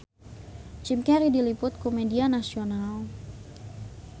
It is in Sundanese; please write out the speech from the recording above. Jim Carey diliput ku media nasional